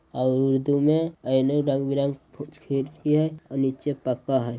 और उर्दू में आईने रंग बिरंग छ - छेद किये हए और नीचे पक्का हए ।